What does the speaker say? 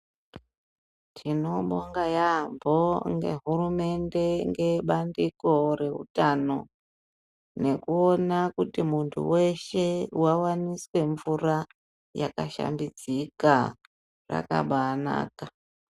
Tinobonga yaampho ngehurumende ngebandiko reutano ,nekuona kuti muntu weshe wawaniswe mvura, yakashambidzika, rakabaanaka.